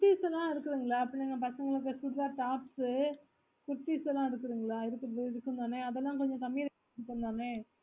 kutties குளம் இருக்குதுங்கள அப்ரோ பசங்களுக்குளம் tops kurties ங்கள இருக்குதுங்களா இதுக்கும் அதுக்கும் தனியா அதல கொஞ்ச கம்மி rangle ல பண்ணலாமே